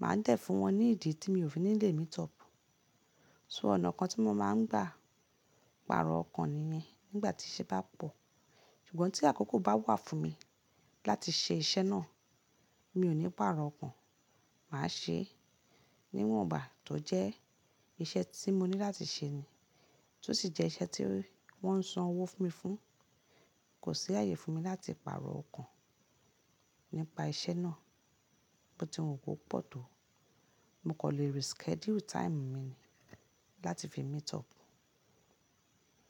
màá dẹ́ẹ̀ fún wọn ní ìdí tí mi ò fi lè meet up. So ọ̀nà kan tí mo máa ń gbà pàrọ̀ ọkàn nìyẹn nígbà tí iṣẹ́ bá pọ̀. Ṣùgbọ́n tí àkókò bá wà fún mi láti ṣe iṣẹ́ náà, mi ò ní pàrọ̀ ọkàn, màá ṣe é níwọ̀nba tó jẹ́ iṣẹ́ tí mo ní láti ṣe ni. Tó sì jẹ́ iṣẹ́ tí wọ́n ń san owó fún mi fún, kò sí ààyè fún mi láti pàrọ̀ ọkàn nípa iṣẹ́ náà. Bo tí wọn kò pọ̀ tó, mo kò lè reschedule time mi ni láti fi meet up.